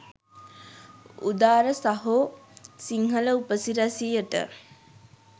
උදාර සහෝ සිංහල උපසිරැසියට.